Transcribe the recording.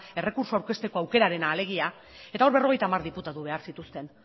errekurtsoa aurkezteko alegia eta hor berrogeita hamar diputatu behar zituzten